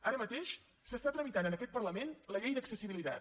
ara mateix s’està tramitant en aquest parlament la llei d’accessibilitat